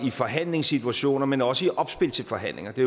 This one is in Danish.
i forhandlingssituationer men også i opspil til forhandlinger det